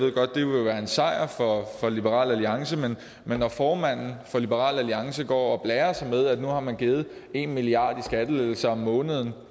sejr for liberal alliance men men når formanden for liberal alliance går og blærer sig med at nu har man givet en milliard kroner i skattelettelser om måneden